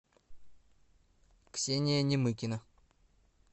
ксения немыкина